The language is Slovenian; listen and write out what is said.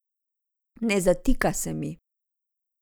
Ne zatika se mi.